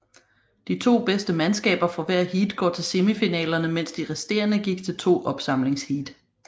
De to bedste mandskaber fra hvert heat gik til semifinalerne mens de resterende gik til to opsamlingsheat